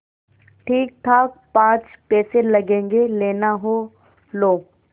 ठीकठाक पाँच पैसे लगेंगे लेना हो लो